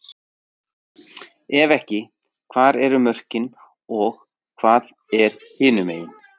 Ef ekki, hvar eru þá mörkin og hvað er hinumegin?